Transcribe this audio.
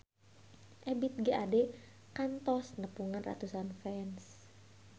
Ebith G. Ade kantos nepungan ratusan fans